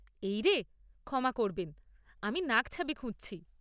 এই রে, ক্ষমা করবেন, আমি নাকছাবি খুঁজছি।